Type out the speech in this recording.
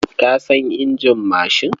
Ka san injin mashin?